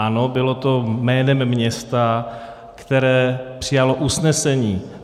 Ano, bylo to jménem města, které přijalo usnesení.